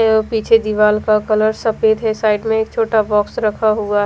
अ पीछे दीवाल का कलर सफ़ेद है साइड एक छोटा बॉक्स रखा हुआ है।